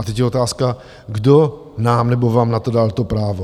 A teď je otázka, kdo nám nebo vám na to dá to právo?